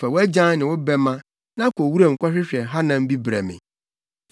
Fa wʼagyan ne wo bɛmma, na kɔ wuram kɔhwehwɛ hanam bi brɛ me.